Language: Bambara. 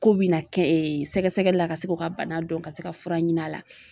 K'u bi na kɛ sɛgɛsɛgɛli la ka se k'o ka bana dɔn ka se ka fura ɲin'a la.